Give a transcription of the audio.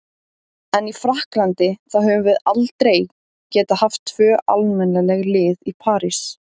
En í Frakklandi, þá höfum við aldrei getað haft tvö almennileg lið í París.